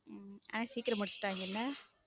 உம் ஆனா சீக்கிரம் முடிச்சிட்டாங்கல.